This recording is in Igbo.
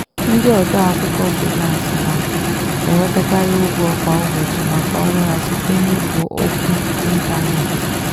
ndị ode akwụkwọ frilansị na-enwetakarị ụgwọ kwa ụbọchị maka ọrụ ha site n'ikpo okwu ịntanetị.